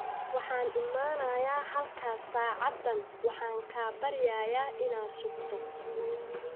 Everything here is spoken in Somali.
Waxaan imanayaa halkaas saacadan, waxaan kaa baryayaa inaad sugto.